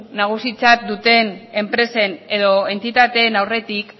nagusitzat duten enpresen edo entitateen aurretik